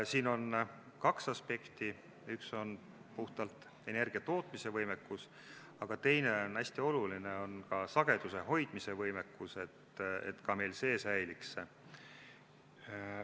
Siin on kaks aspekti, üks on puhtalt energiatootmisvõimekus, aga teine, hästi oluline, on sageduse hoidmise võimekus, et meil ka see säiliks.